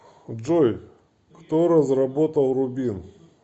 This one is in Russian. джой кто разработал рубин